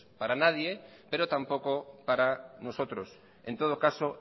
para nadie pero tampoco para nosotros en todo caso